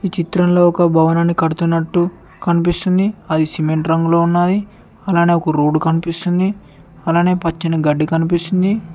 ఈ చిత్రంలో ఒక భవనాన్ని కడుతున్నట్టు కనిపిస్తుంది అది సిమెంట్ రంగులో ఉన్నాయి అలానే ఒక రోడ్ కనిపిస్తుంది అలానే పచ్చని గడ్డి కనిపిస్తుంది.